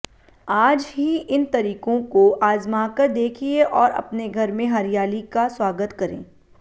आज ही इन तरीकों को आजमाकर देखिए और अपने घर में हरियाली का स्वागत करें